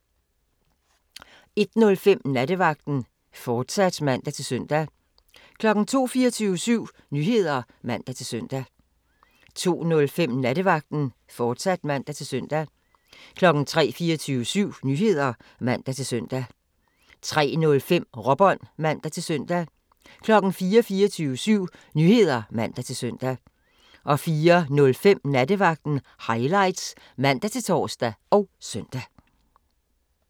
01:05: Nattevagten, fortsat (man-søn) 02:00: 24syv Nyheder (man-søn) 02:05: Nattevagten, fortsat (man-søn) 03:00: 24syv Nyheder (man-søn) 03:05: Råbånd (man-søn) 04:00: 24syv Nyheder (man-søn) 04:05: Nattevagten Highlights (man-tor og søn)